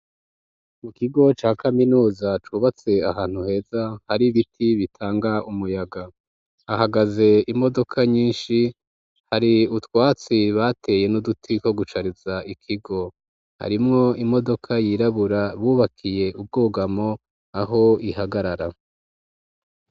Mu kigo ca kaminuza cubatse ahantu heza hari ibiti bitanga umuyaga. Hahagaze imodoka nyinshi hari utwatsi bateye n'uduti ko gucariza ikigo harimwo imodoka yirabura bubakiye ubwugamo aho ihagarara.